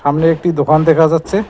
সামনে একটি দোকান দেখা যাচ্ছে।